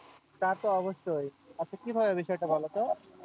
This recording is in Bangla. তা তো অবশ্যই। আচ্ছা কি ভাবে বিষয় টা বলতো?